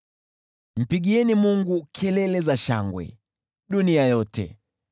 Mpigieni Mungu kelele za shangwe, dunia yote!